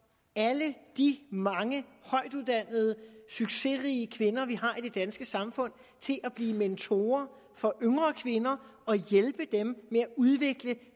alle de mange højtuddannede succesrige kvinder vi har i det danske samfund til at blive mentorer for yngre kvinder og hjælpe dem med at udvikle